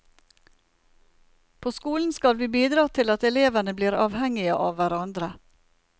På skolen skal vi bidra til at elevene blir avhengige av hverandre.